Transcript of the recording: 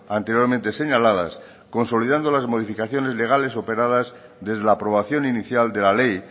anteriormente señaladas consolidando las modificaciones legales operadas desde la aprobación inicial de la ley